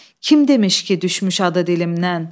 Kim demiş ki düşmüş adı dilimdən?